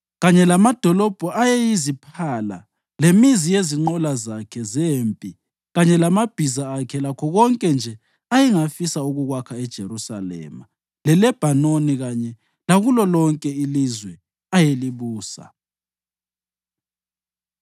kanye lamadolobho ayeyiziphala lemizi yezinqola zakhe zempi kanye lamabhiza akhe lakho konke nje ayengafisa ukukwakha eJerusalema leLebhanoni kanye lakulo lonke ilizwe ayelibusa.